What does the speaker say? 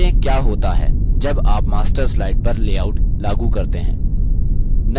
जाँचें क्या होता है जब आप master slide पर लेआउट लागू करते हैं